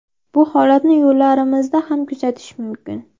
Bu holatni yo‘llarimizda ham kuzatish mumkin.